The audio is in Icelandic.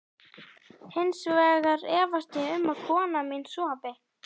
Hins vegar efast ég um að kona mín sofi.